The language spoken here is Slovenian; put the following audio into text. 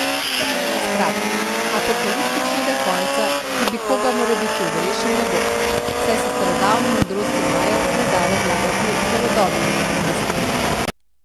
Skratka, apokaliptičnega konca, ki bi koga morebiti odrešil, ne bo, saj se starodavnih modrosti Majev ne da razlagati z novodobnimi neumnostmi.